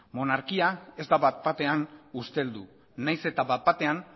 monarkia ez da bat batean usteldu nahiz eta bat batean